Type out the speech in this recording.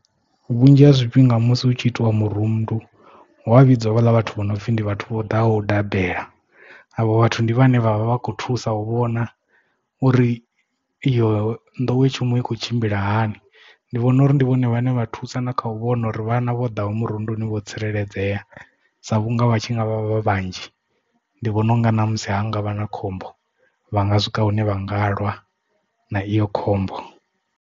Vhunzhi ha zwifhinga musi hu tshi itiwa murundu huwa vhidzwa havhala vhathu vho no pfhi ndi vhathu vho ḓaho u dabela avho vhathu ndi vhane vha vha vha vha kho thusa u vhona uri iyo nḓowetshumo i kho tshimbila hani ndi vhona uri ndi vhone vhane vha thusa na kha u vhona uri vhana vho ḓaho murunduni vho tsireledzea sa vhunga vha tshi ngavha vhanzhi ndi vhona unga na musi hungavha na khombo vha nga swika hune vha nga lwa na iyo khombo.